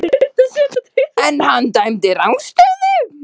En hann dæmdi rangstöðu?